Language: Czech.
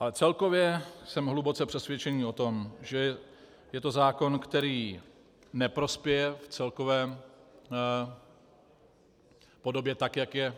Ale celkově jsem hluboce přesvědčený o tom, že je to zákon, který neprospěje v celkové podobě, tak jak je